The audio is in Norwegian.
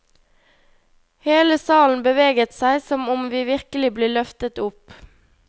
Hele salen beveget seg som om vi virkelig ble løftet opp.